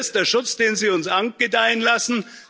Ist das der Schutz, den Sie uns angedeihen lassen?